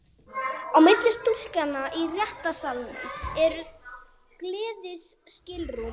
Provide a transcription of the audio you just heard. Á milli stúkunnar og réttarsalarins eru glerskilrúm.